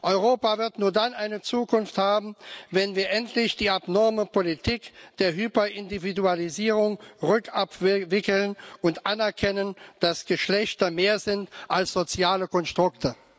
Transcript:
Europa wird nur dann eine Zukunft haben, wenn wir endlich die abnorme Politik der Hyperindividualisierung rückabwickeln und anerkennen, dass Geschlechter mehr sind als soziale Konstrukte.